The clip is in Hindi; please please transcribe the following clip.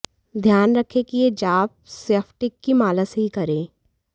ध्यान रखें कि ये जाप स्फटिक की माला से ही करें